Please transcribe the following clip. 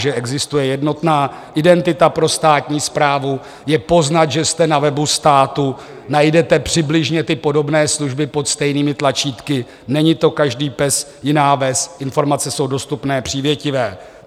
Že existuje jednotná identita pro státní správu, je poznat, že jste na webu státu, najdete přibližně ty podobné služby pod stejnými tlačítky, není to každý pes jiná ves, informace jsou dostupné, přívětivé.